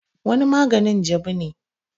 wani maganin jabu ne